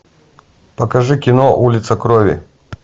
покажи кино улица крови